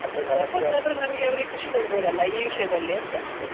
ನಮಗೆ ಅವರಿಗೆ ಖುಷಿ ಕೊಡಬೋದಲ್ಲ ಈ ಒಂದು ವಿಷಯದಲ್ಲಿ ಅಂತ.